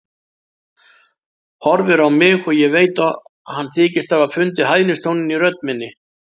Horfir á mig og ég veit að hann þykist hafa fundið hæðnistóninn í rödd minni.